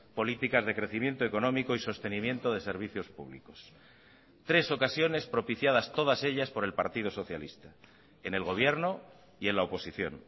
políticas de crecimiento económico y sostenimiento de servicios públicos tres ocasiones propiciadas todas ellas por el partido socialista en el gobierno y en la oposición